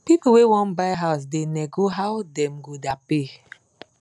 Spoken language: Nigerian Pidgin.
pipu wey wan buy house da nego how dem go da pay